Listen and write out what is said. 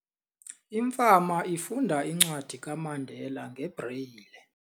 Imfama ifunda incwadi kaMandela ngebreyile.